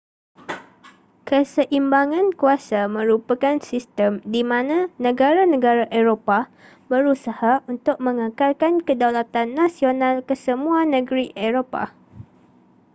keseimbangan kuasa merupakan sistem di mana negara-negara eropah berusaha untuk mengekalkan kedaulatan nasional kesemua negeri eropah